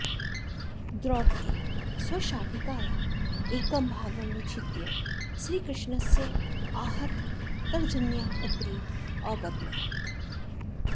द्रौपदी स्वशाटिकायाः एकं भागं विच्छिद्य श्रीकृष्णस्य आहततर्जन्याः उपरि अबध्नात्